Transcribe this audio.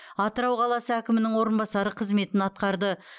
атырау қаласы әкімінің орынбасары қызметін атқарды